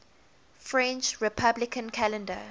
french republican calendar